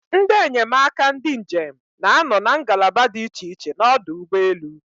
Ndị enyemaka ndị njem na-anọ na ngalaba dị iche iche n'ọdụ ụgbọelu.